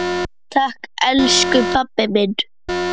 Takk elsku pabbi minn.